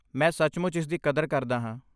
ਮੈਂ ਸੱਚਮੁੱਚ ਇਸਦੀ ਕਦਰ ਕਰਦਾ ਹਾਂ।